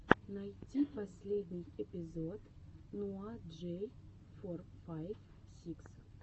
найти последний эпизод ноа джей фор файв сикс